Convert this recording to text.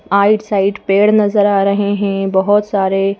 आइट side पेड़ नजर आ रहे हैं बहुत सारे--